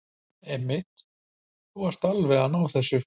Einmitt, þú ert alveg að ná þessu.